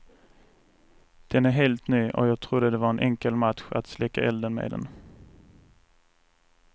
Den är helt ny och jag trodde det var en enkel match att släcka elden med den.